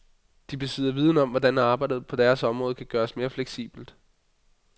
De besidder viden om, hvordan arbejdet på deres område kan gøres mere fleksibelt.